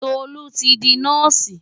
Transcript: Tolú ti di nọ́ọ̀sì.